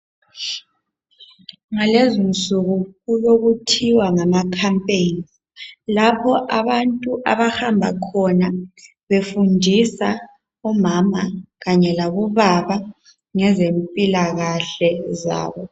Ngalezi nsuku kulokuthiwa ngama "campaign" lapho abantu abahamba khona befundisa omama kanye labobaba ngezempilakahle zabo.